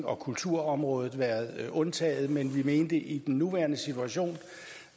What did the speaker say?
og kulturområdet været undtaget men vi mente at i den nuværende situation